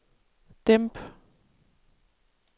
dæmp